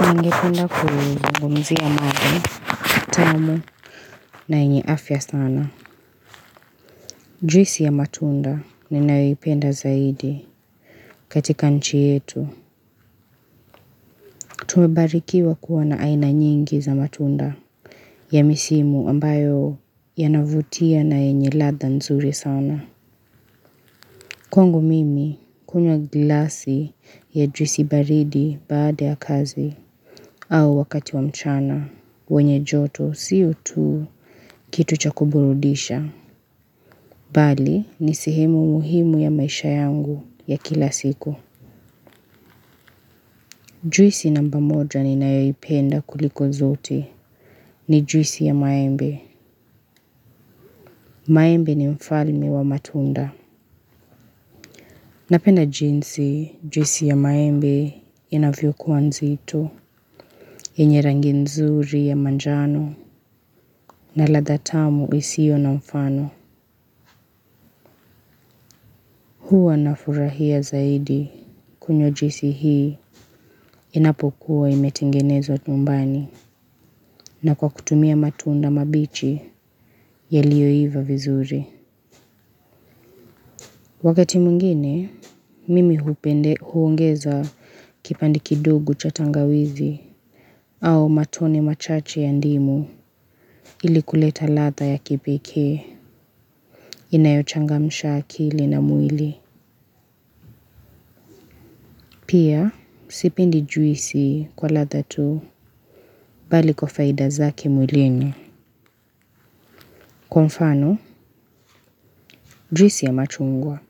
Ningependa kuzungumzia matunda, tamu na enye afya sana. Juisi ya matunda ninayoipenda zaidi katika nchi yetu. Tumebarikiwa kuwa na aina nyingi za matunda ya misimu ambayo yanavutia na yenye ladha nzuri sana. Kwangu mimi kunywa glasi ya juisi baridi baada ya kazi. Au wakati wa mchana, wenye joto siyo tu kitu cha kuburudisha. Bali, ni sehemu muhimu ya maisha yangu ya kila siku. Juisi namba moja ninayoipenda kuliko zote ni juisi ya maembe. Maembe ni mfalme wa matunda. Napenda jinsi juisi ya maembe inavyokuwa nzito. Enye rangi nzuri ya manjano na ladha tamu isiyo na mfano. Huwa nafurahia zaidi kunywa juisi hii inapokuwa imetengenezwa nyumbani na kwa kutumia matunda mabichi yaliyoiva vizuri. Wakati mwingine, mimi huongeza kipande kidogo cha tangawizi au matone machache ya ndimu ili kuleta ladha ya kipekee inayochangamisha akili na mwili. Pia, sipendi juisi kwa ladha tu bali kwa faida zake mwilini. Kwa mfano, juisi ya machungwa.